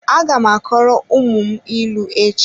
Aga m akọrọ ụmụ m ịlụ echi.